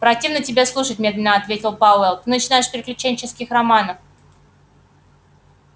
противно тебя слушать медленно ответил пауэлл ты начинаешь с приключенческих романов